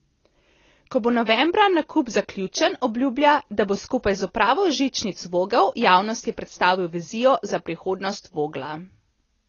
Ko bo novembra nakup zaključen, obljublja, da bo skupaj z upravo Žičnic Vogel javnosti predstavil vizijo za prihodnost Vogla.